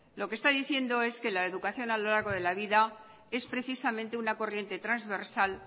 lo que está diciendo es que la educación a lo largo de la vida es precisamente una corriente transversal